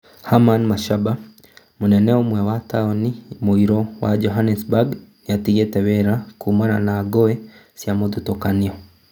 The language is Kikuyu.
Herman Mashaba: Mũnene ũmwe wa taũni mũiro wa Johannesburg nĩatigĩte wĩra kumana na ngũĩ cia mũthutũkanio